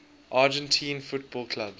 argentine football clubs